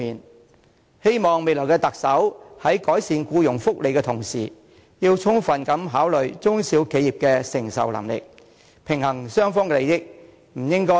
我希望未來的特首在改善僱員福利的同時，能充分考慮中小企業的承受能力，平衡雙方利益，不應該顧此失彼。